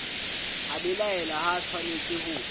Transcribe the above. a belaela ha atshwanetse ho